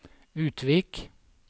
Utvik